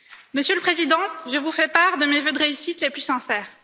Monsieur le Président, je vous fais part de mes vœux de réussite les plus sincères.